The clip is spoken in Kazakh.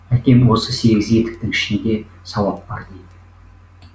әкем осы сегіз етіктің ішінде сауап бар дейді